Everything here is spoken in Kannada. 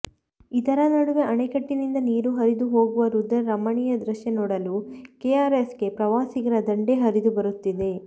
ಇದರ ನಡುವೆ ಅಣೆಕಟ್ಟಿನಿಂದ ನೀರು ಹರಿದು ಹೋಗುವ ರುದ್ರ ರಮಣೀಯ ದೃಶ್ಯ ನೋಡಲು ಕೆಆರ್ಎಸ್ಗೆ ಪ್ರವಾಸಿಗರ ದಂಡೇ ಹರಿದು ಬರುತ್ತಿದೆ